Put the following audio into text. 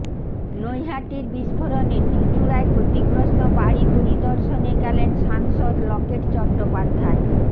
নৈহাটির বিস্ফোরণে চুচূড়ায় ক্ষতিগ্রস্ত বাড়ি পরিদর্শনে গেলেন সাংসদ লকেট চট্টোপাধ্যায়